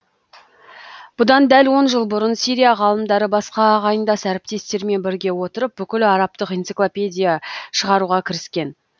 бұдан дәл он жыл бұрын сирия ғалымдары басқа ағайындас әріптестермен біріге отырып бүкіл арабтық энциклопедия шығаруға кіріскен